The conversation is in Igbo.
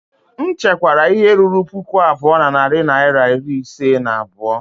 M chekwara ihe ruru puku abụọ na narị naịra iri ise na abụọ